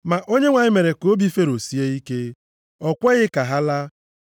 Ma Onyenwe anyị mere ka obi Fero sie ike. O kweghị ka ha laa.